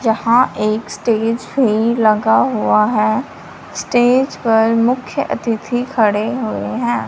जहां एक स्टेज है लगा हुआ है स्टेज पर मुख्य अतिथि खड़े हुए हैं।